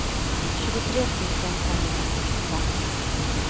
tjugotre tusen femhundrasextiofem